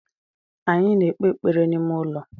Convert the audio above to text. Anyị na-ekpe ekpere n’ime ụlọ